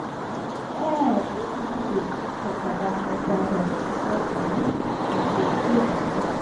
um pipo no dey gree tok about mental health because um dem dey shame. um